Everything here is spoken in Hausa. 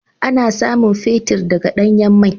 Ana samun fetir daga danyan mai.